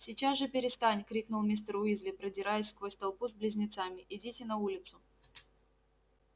сейчас же перестань крикнул мистер уизли продираясь сквозь толпу с близнецами идите на улицу